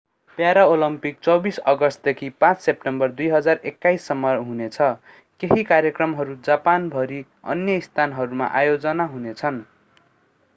Paralympic 24 अगस्टदेखि 5 September 2021 सम्म हुनेछ केही कार्यक्रमहरू जापान भरि अन्य स्थानहरूमा आयोजना हुनेछन्